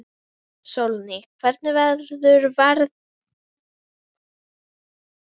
Sólný, hvernig verður veðrið á morgun?